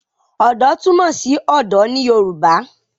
Ọ̀dọ́ túmọ̀ sí ọ̀dọ̀ ní Yorùbá